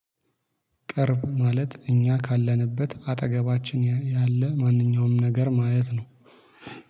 ቅርብ ማለት እኛ ካለንበት አጠገባችን ያለ ማንኛውም ነገር ማለት ነው